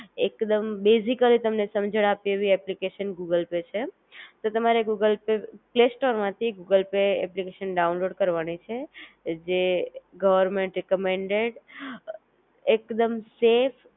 એકદમ બેઝિકલી તમને સમજણ આપે એવી એપ્લિકેશન ગૂગલ પે છે, તો તમારે ગૂગલ પે, પ્લેસ્ટોર માથી ગૂગલ પે એપ્લિકેશન ડાઉનલોડ કરવાની છે, જે ગવર્મેન્ટ રેકમેન્ડેડ એકદમ સેફ,